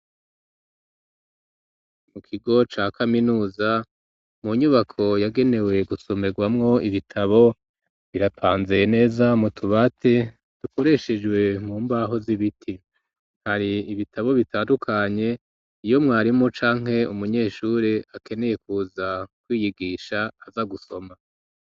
Mu kigo ca kaminuza mu nyubako yagenewe gusomegwamwo ibitabo birapanzeye neza mu tubati dukoreshejwe mu mbaho z'ibiti, hari ibitabo bitandukanye iyo mwarimu canke umunyeshure akeneye kuza kwiyigisha aza gusoma.